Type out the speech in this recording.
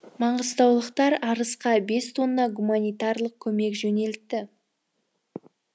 маңғыстаулықтар арысқа бес тонна гуманитарлық көмек жөнелтті